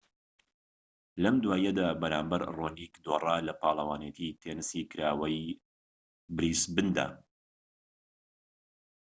لەم دواییەدا بەرامبەر ڕۆنیك دۆڕا لە پاڵەوانێتی تێنسی کراوەی بریسبندا